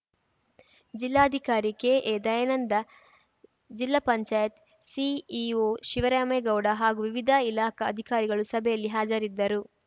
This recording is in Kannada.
ಜಿಲ್ಲಾಧಿಕಾರಿ ಕೆಎದಯಾನಂದ ಜಿಲ್ಲಾ ಪಂಚಾಯತ್ ಸಿಇಒ ಶಿವರಾಮೇಗೌಡ ಹಾಗೂ ವಿವಿಧ ಇಲಾಖಾ ಅಧಿಕಾರಿಗಳು ಸಭೆಯಲ್ಲಿ ಹಾಜರಿದ್ದರು